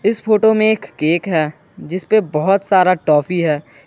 इस फोटो में एक केक है जिसपे बहुत सारा टॉफी है।